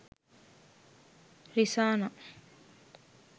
risana